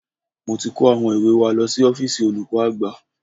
Mo ti kó àwọn ìwé wa lọ sí ọ́fíìsì olùkọ́ àgbà